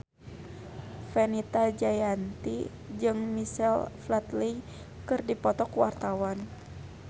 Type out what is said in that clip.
Fenita Jayanti jeung Michael Flatley keur dipoto ku wartawan